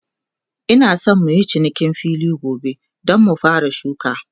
Ina San muyi cinikin filin gobe, Dan mu fara shuka